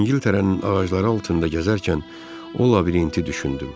İngiltərənin ağacları altında gəzərkən o labirinti düşündüm.